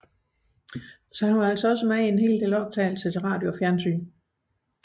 Han medvirkede således også i adskillige optagelser til radio og tv